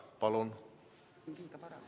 Palun!